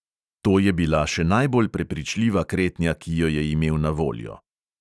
To je bila še najbolj prepričljiva kretnja, ki jo je imel na voljo.